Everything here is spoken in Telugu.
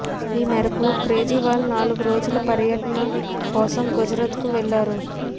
ఈ మేరకు కేజ్రీవాల్ నాలుగు రోజుల పర్యటన కోసం గుజరాత్ కు వెళ్లారు